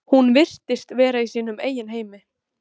Hún virtist vera í sínum eigin heimi.